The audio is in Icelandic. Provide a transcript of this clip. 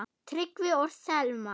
Tryggvi og Selma.